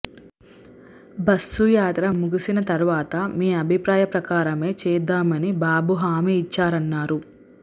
బస్సుయాత్ర ముగిసిన తర్వాత మీ అభిప్రాయం ప్రకారమే చేద్దామని బాబు హామీ ఇచ్చారన్నారు